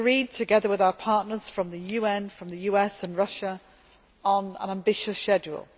Together with our partners from the UN, from the US and Russia, we agreed on an ambitious schedule.